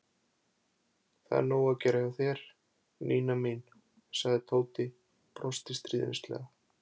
Það er sko nóg að gera hjá þér, Nína mín sagði Tóti og brosti stríðnislega.